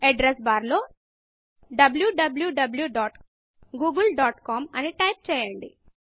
address barఅడ్రస్ bar లో wwwgooglecom అని టైప్ చేయండి